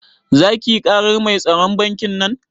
Zaki yi karar mai tsaron bankin nan?